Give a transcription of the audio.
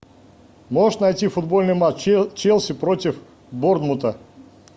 можешь найти футбольный матч челси против борнмута